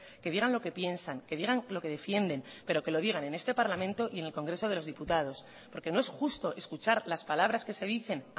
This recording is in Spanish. que digan lo que piensan que digan lo que defiende pero que lo digan en este parlamento y el congreso de los diputados porque no es justo escuchar las palabras que se dice